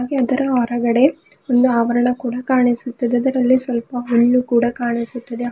ಇದರ ಹೊರಗಡೆ ಒಂದು ಅವರಣ ಕೂಡ ಕಾಣಿಸುತ್ತಿದೆ ಅದರಲ್ಲಿ ಸ್ವಲ್ಪ ಹಣ್ಣು ಕೂಡ ಕಾಣಿಸುತ್ತಿದೆ.